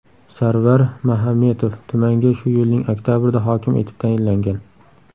Sarvar Mahametov tumanga shu yilning oktabrida hokim etib tayinlangan.